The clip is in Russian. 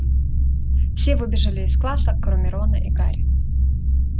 все выбежали из класса кроме рона и гарри